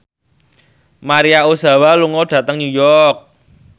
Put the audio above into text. Maria Ozawa lunga dhateng New York